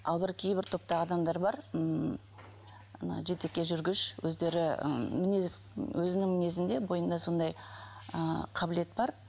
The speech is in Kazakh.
ал бір кейбір топта адамдар бар ммм мына жетекке жүргіш өздері м мінез өзінің мінезінде бойында сондай ы қабілет бар